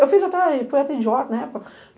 Eu fui fui idiota na época.